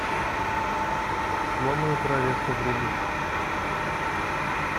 сломанное королевство вруби